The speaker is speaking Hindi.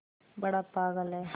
बड़ा पागल है